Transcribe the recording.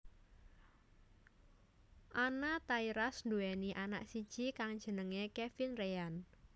Anna Tairas nduwéni anak siji kang jenengé Kevin Reyan